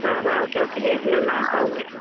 ಹಾ ಹಾ okay, okay .